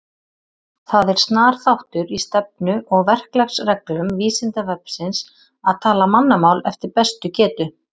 Það er snar þáttur í stefnu og verklagsreglum Vísindavefsins að tala mannamál eftir bestu getu.